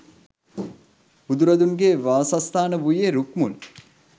බුදුරදුන්ගේ වාසස්ථාන වූයේ රුක්මුල්,